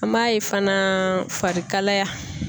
An b'a ye fana farikalaya.